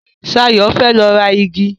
Ṣayọ̀ fẹ́ lọ ra igi.